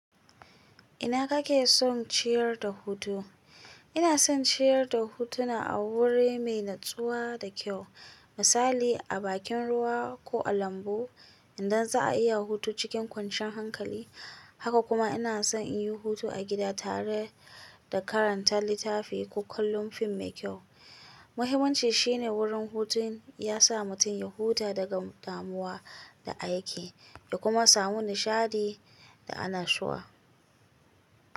Ina kake son ciyar da hutu? Ina son ciyar da hutuna a wuri mai natsuwa da kyau, misali a bakin ruwa ko a lambu idan za'a iya hutu cikin kwanciyar hankali. Haka kuma ina son in yi hutu a gida tare da karanta littafi ko kallon fim mai kyau. Muhimmanci shine wurin hutun ya sa mutum ya huta daga damuwa da aike, ya kuma samu nishaɗi da annashuwa.